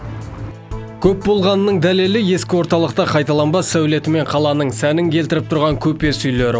көп болғанының дәлелі ескі орталықта қайталанбас сәулетімен қаланың сәнін келтіріп тұрған көпес үйлері